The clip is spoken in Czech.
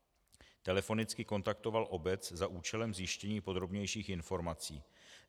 Telefonicky kontaktoval obec za účelem zjištění podrobnějších informací.